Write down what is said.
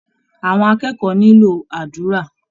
Àwọn akẹ́kọ̀ọ́ nílò àdúrà